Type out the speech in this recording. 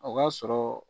O ka sɔrɔ